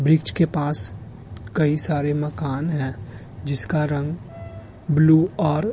वृक्ष के पास कई सारे मकान है जिसका रंग ब्लू और --